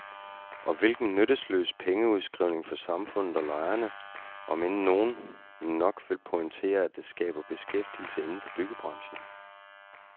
Og hvilken nytteløs pengeudskrivning for samfundet og lejerne, om end nogen nok vil pointere, at det skaber beskæftigelse inden for byggebranchen.